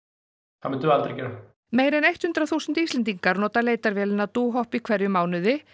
það myndum við aldrei gera meira en hundrað þúsund Íslendingar nota leitarvélina Dohop í hverjum mánuði